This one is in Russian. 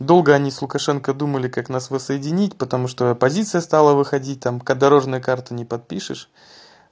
долго они с лукашенко думали как нас воссоединить потому что аппозиция стала выходить там пока дорожную карту не подпишешь